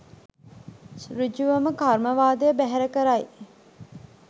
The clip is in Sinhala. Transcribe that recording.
සෘජුවම කර්මවාදය බැහැර කරයි